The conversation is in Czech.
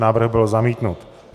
Návrh byl zamítnut.